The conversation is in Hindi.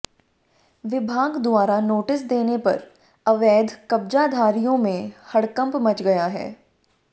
विभाग द्वारा नोटिस देने पर अवैध कब्जाधारियों में हड़कंप मच गया है